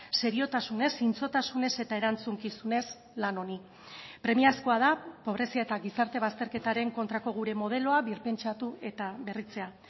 seriotasunez zintzotasunez eta erantzukizunez lan honi premiazkoa da pobrezia eta gizarte bazterketaren kontrako gure modeloa birpentsatu eta berritzea